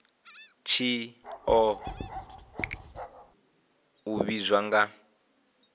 tshi oa u ivhadzwa nga